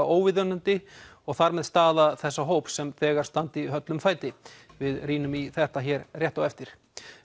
óviðunandi og þar með staða þessa hóps sem þegar standi höllum fæti við rýnum í þetta hér rétt á eftir